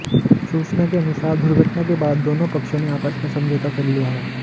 सूचना के अनुसार दुर्घटना के बाद दोनों पक्षों ने आपस में समझौता कर लिया है